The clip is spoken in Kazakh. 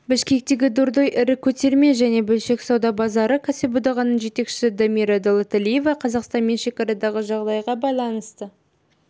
бішкектегі дордой ірі көтерме және бөлшек сауда базары кәсіподағының жетекшісі дамира доолоталиева қазақстанмен шекарадағы жағдайға байланысты